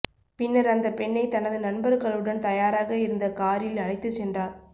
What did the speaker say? பின்னர் அந்த பெண்ணை தனது நண்பர்களுடன் தயாராக இருந்த காரில் அழைத்து சென்றார்